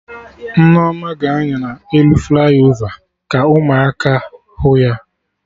Nneoma ga-anya na elu flaiovaka ụmụaka hụ ya